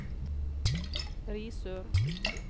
Risør